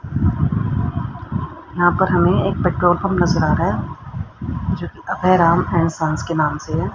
यहां पर हमें एक पेट्रोल पंप नजर आ रहा है जो कि अभय राम एंड संस के नाम से है।